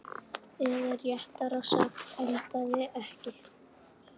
Eða réttara sagt, endaði ekki.